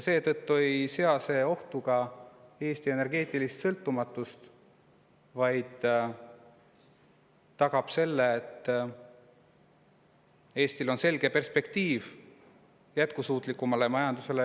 Seetõttu ei sea ka ohtu Eesti energeetilist sõltumatust, vaid tagab, et Eestil oleks selge perspektiiv üleminekuks jätkusuutlikumale majandusele.